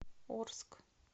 орск